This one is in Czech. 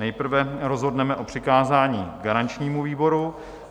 Nejprve rozhodneme o přikázání garančnímu výboru.